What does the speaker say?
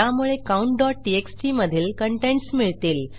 यामुळे countटीएक्सटी मधील कंटेंट्स मिळतील